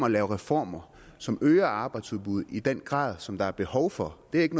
at lave reformer som øger arbejdsudbuddet i den grad som der er behov for det er ikke